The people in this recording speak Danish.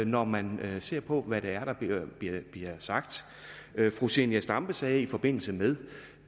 når man ser på hvad der bliver sagt fru zenia stampe sagde i forbindelse med